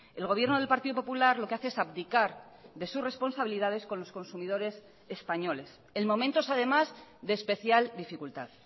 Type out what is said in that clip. el gobierno del partido popular lo que hace es abdicar de sus responsabilidades con los consumidores españoles en momentos además de especial dificultad